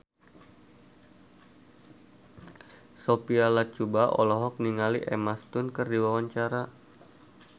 Sophia Latjuba olohok ningali Emma Stone keur diwawancara